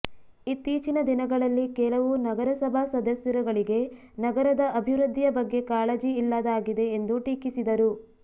ಇತ್ತೀಚಿನ ದಿನಗಳಲ್ಲಿ ಕೆಲವು ನಗರಸಭಾ ಸದಸ್ಯರುಗಳಿಗೆ ನಗರದ ಅಭಿವೃದ್ಧಿಯ ಬಗ್ಗೆ ಕಾಳಜಿ ಇಲ್ಲದಾಗಿದೆ ಎಂದು ಟೀಕಿಸಿದರು